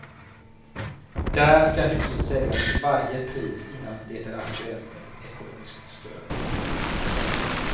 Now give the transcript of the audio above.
Där ska huset säljas till varje pris, innan det är aktuellt med ekonomiskt stöd.